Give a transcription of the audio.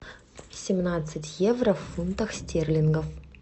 семнадцать евро в фунтах стерлингов